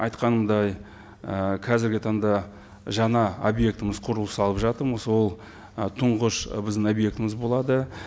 айтқандай ы қазіргі таңда жаңа объектіміз құрылыс салып жатырмыз ол ы тұңғыш ы біздің объектіміз болады